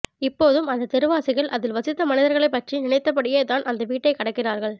இப்போதும் அந்த தெருவாசிகள் அதில் வசித்த மனிதர்களைப் பற்றி நினைத்தபடியே தான் அந்த வீட்டைக் கடக்கிறார்கள்